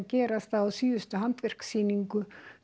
gerast að á síðustu handverkssýningu